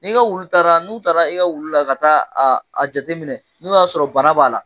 N'i ka wulu taara n'u taara i ka wulu la, ka taa a jateminɛ, n'u y'a sɔrɔ bana b'a la